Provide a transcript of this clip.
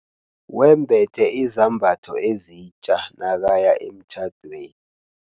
Wembethe izambatho ezitja nakaya emtjhadweni.